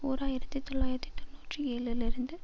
ஓர் ஆயிரத்தி தொள்ளாயிரத்தி தொன்னூற்றி ஏழு லிருந்து